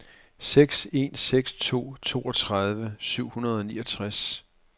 seks en seks to toogtredive syv hundrede og niogtres